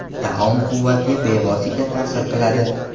Taom quvvatga bevosita ta’sir qiladi.